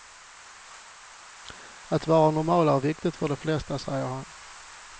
Att vara normal är viktigt för de flesta, säger han.